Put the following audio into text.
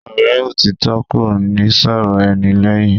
Ọ̀rẹ́ òtítọ́ kò ní sọ̀rọ̀ ẹni lẹ́yìn.